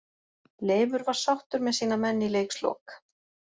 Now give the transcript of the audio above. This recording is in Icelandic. Leifur var sáttur með sína menn í leikslok.